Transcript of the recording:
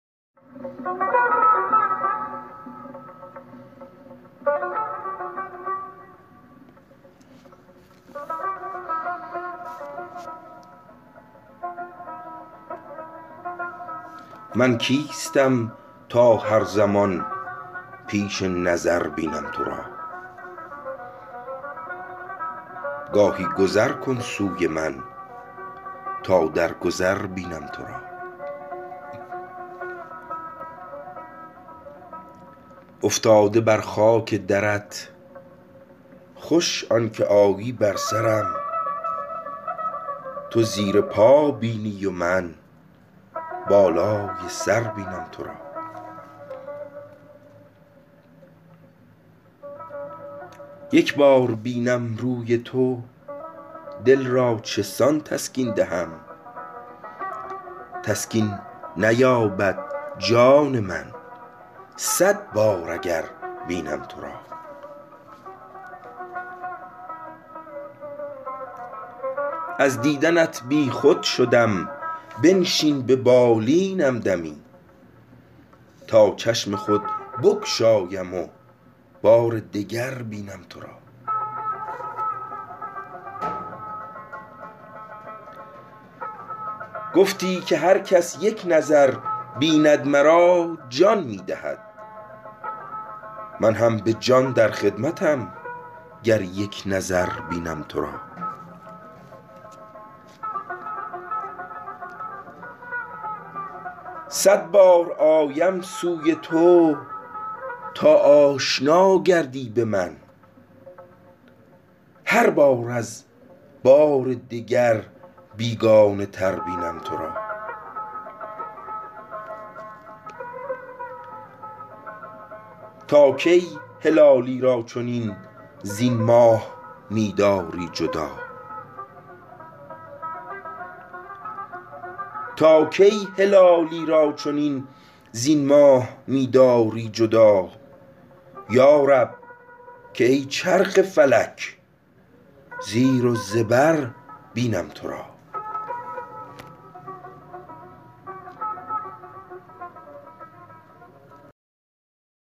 من کیستم تا هر زمان پیش نظر بینم تو را گاهی گذر کن سوی من تا در گذر بینم تو را افتاده بر خاک درت خوش آن که آیی بر سرم تو زیر پا بینی و من بالای سر بینم تو را یک بار بینم روی تو دل را چسان تسکین دهم تسکین نیابد جان من صد بار اگر بینم تو را از دیدنت بیخود شدم بنشین به بالینم دمی تا چشم خود بگشایم و بار دگر بینم تو را گفتی که هر کس یک نظر بیند مرا جان می دهد من هم بجان در خدمتم گر یک نظر بینم تو را صد بار آیم سوی تو تا آشنا گردی به من هر بار از بار دگر بیگانه تر بینم تو را تا کی هلالی را چنین زین ماه می داری جدا یارب که ای چرخ فلک زیر و زبر بینم تو را